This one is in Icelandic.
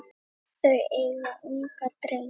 Þau eiga ungan dreng.